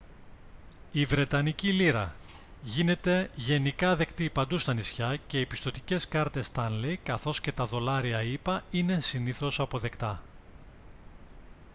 η βρετανική λίρα γίνεται γενικά δεκτή παντού στα νησιά και οι πιστωτικές κάρτες stanley καθώς και τα δολάρια ηπα είναι συνήθως αποδεκτά